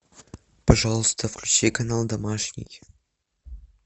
пожалуйста включи канал домашний